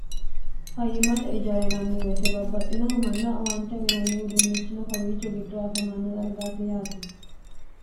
fayyimmate ijara inanniweyete babbaxxinohu manna owante uyinanni uduunnichino kowiichu giddoho afamanno dargaati yaate